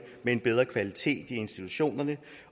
med en bedre kvalitet i institutionerne